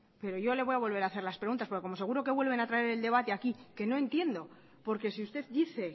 pero yo le voy a volver a hacer las preguntas porque como seguro que vuelven a traer el debate aquí que no entiendo porque si usted dice